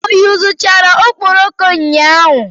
O yuzuchara okporoko ụnyahụ?